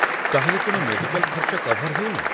ତା'ହେଲେ କ'ଣ ମେଡିକାଲ୍ ଖର୍ଚ୍ଚ କଭର୍ ହେଉନି?